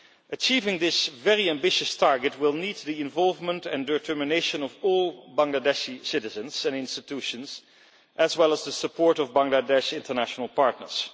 Achieving this very ambitious target will need the involvement and determination of all Bangladeshi citizens and institutions, as well as the support of Bangladesh international partners.